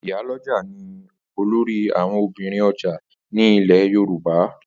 Ìyálọ́jà ni olórí àwọn obìnrin ọjà ní lẹ̀ Yorùbá.